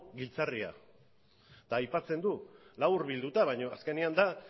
giltzarria eta aipatzen du laburbilduta baina azkenean da